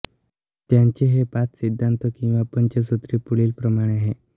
त्यांचे हे पाच सिद्धांत किंवा पंचसूत्री पुढीलप्रमाणे आहे